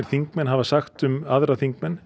þingmenn hafa sagt um aðra þingmenn